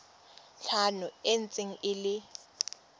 tlhano e ntse e le